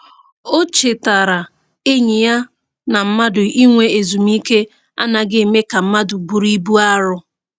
O chetaara enyi ya na mmadụ inwe ezumike anaghị eme ka mmadụ bụrụ ibu arọ.